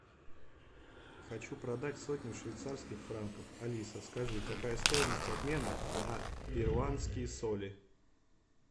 хочу продать сотню швейцарских франков алиса скажи какая стоимость обмена на перуанские соли